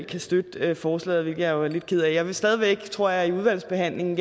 kan støtte forslaget hvilket jeg jo er lidt ked af jeg vil stadig væk gerne tror jeg i udvalgsbehandlingen